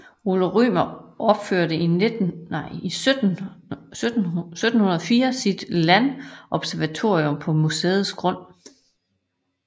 Ole Rømer opførte i 1704 sit landobservatorium på museets grund